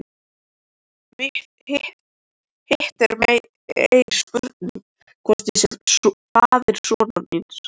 Hitt er meiri spurning hvort ég sé faðir sonar míns.